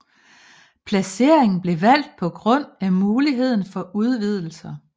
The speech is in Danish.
Placeringen blev valgt på grund af muligheden for udvidelser